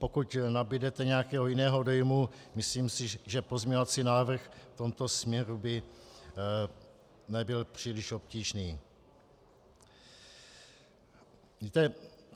Pokud nabudete nějakého jiného dojmu, myslím si, že pozměňovací návrh v tomto směru by nebyl příliš obtížný.